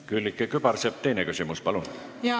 Külliki Kübarsepp, teine küsimus, palun!